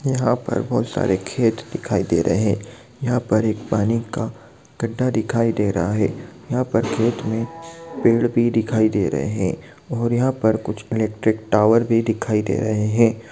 यहाँ पर बहुत सारे खेत दिखाई दे रहे है। यहाँ पर एक पानी का गड्डा दिखाई दे रहा है यहाँ पर खेत में पेड़ भी दिखाई दे रहे है और यहाँ पर कुछ इलेक्ट्रिक टावर भी दिखाई दे रहे हैं।